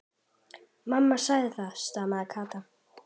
Mamma segir það, stamaði Kata.